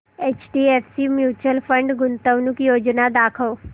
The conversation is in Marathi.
एचडीएफसी म्यूचुअल फंड गुंतवणूक योजना दाखव